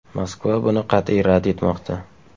Moskva buni qat’iy rad etmoqda.